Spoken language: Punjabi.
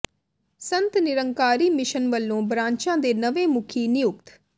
ਸੰਤ ਨਿਰੰਕਾਰੀ ਮਿਸ਼ਨ ਵੱਲੋਂ ਬਰਾਂਚਾਂ ਦੇ ਨਵੇਂ ਮੁਖੀ ਨਿਯੁਕਤ